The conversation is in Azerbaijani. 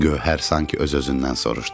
Gövhər sanki öz-özündən soruşdu.